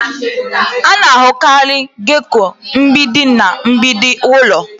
A na-ahụkarị gecko mgbidi na mgbidi ụlọ.